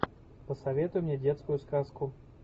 посоветуй мне детскую сказку